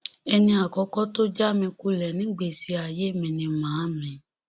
ẹni àkọkọ tó já mi kulẹ nígbèsí ayé mi ni màámi